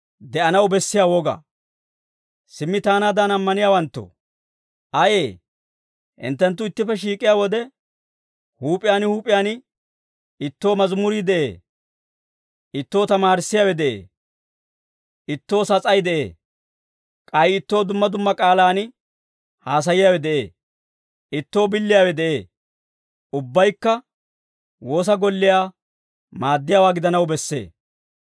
Simmi taanaadan ammaniyaawanttoo, ayee? Hinttenttu ittippe shiik'iyaa wode, huup'iyaan huup'iyaan, ittoo mazimurii de'ee; ittoo tamaarissiyaawe de'ee; ittoo sas'ay de'ee; k'ay ittoo dumma dumma k'aalaan haasaayiyaawe de'ee; ittoo billiyaawe de'ee. Ubbaykka woosa golliyaa maaddiyaawaa gidanaw bessee.